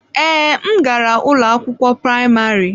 Ee, m gara ụlọ akwụkwọ praịmarị.